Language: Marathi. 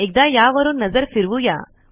एकदा यावरून नजर फ़िरवुया